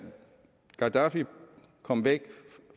gaddafi kom væk